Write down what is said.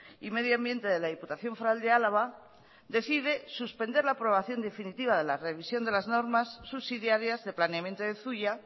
y medio ambiente de la diputación foral de álava decide suspender la aprobación definitiva de la revisión de las normas subsidiarias de planeamiento de zuia